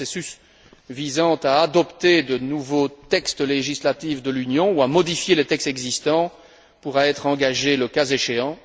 Le processus visant à adopter de nouveaux textes législatifs de l'Union ou à modifier les textes existants pourra être engagé le cas échéant.